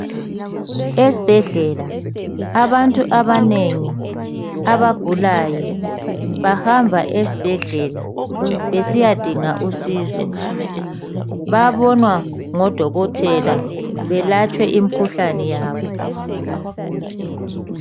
Esibhedlela abantu abaningi abagulayo bahamba esibhedlela besiya dinga usizo babonwa ngodokotela balatshwe imikhuhlane yabo.